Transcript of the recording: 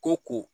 Ko ko